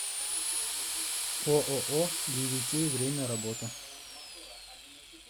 ооо дивикей время работы